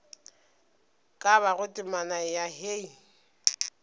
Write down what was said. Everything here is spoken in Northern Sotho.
ka bago temana ya hei